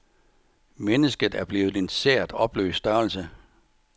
Mennesket er blevet en sært opløst størrelse.